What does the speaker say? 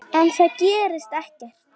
En það gerist ekkert.